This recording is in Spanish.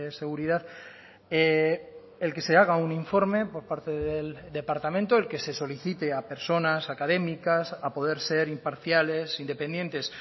seguridad el que se haga un informe por parte del departamento el que se solicite a personas académicas a poder ser imparciales independientes